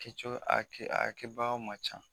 Kɛcogo a kɛ a kɛbagaw man ca.